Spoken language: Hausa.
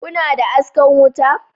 Kuna da askan wuta